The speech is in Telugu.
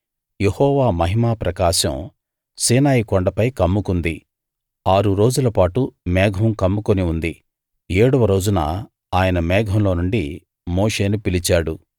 యెహోవా మహిమా ప్రకాశం సీనాయి కొండపై కమ్ముకుంది ఆరు రోజులపాటు మేఘం కమ్ముకుని ఉంది ఏడవ రోజున ఆయన ఆ మేఘంలో నుండి మోషేను పిలిచాడు